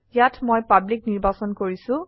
ইয়াত মই পাব্লিক নিৰ্বাচন কৰিছো